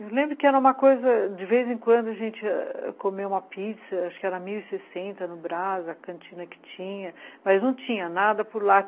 Eu lembro que era uma coisa... De vez em quando a gente comeu uma pizza, acho que era mil e sessenta no Braz, a cantina que tinha, mas não tinha nada por lá.